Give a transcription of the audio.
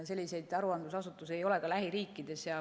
Selliseid aruandlusasutusi ei ole ka lähiriikides.